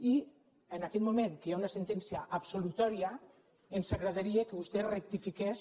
i en aquest moment que hi ha una sentència absolutòria ens agradaria que vostè rectifiqués